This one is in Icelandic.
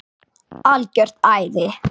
Algjört æði.